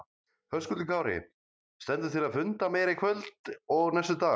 Höskuldur Kári: Stendur til að funda meira í kvöld og næstu daga?